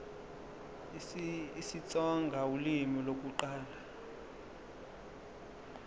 isitsonga ulimi lokuqala